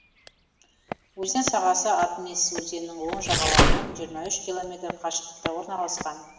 өзен сағасы атмисс өзенінің оң жағалауынан жиырма үш километр қашықтықта орналасқан